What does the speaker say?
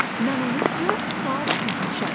Mən onu dörd saat güdmüşəm.